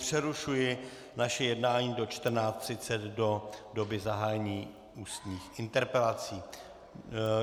Přerušuji naše jednání do 14.30 do doby zahájení ústních interpelací.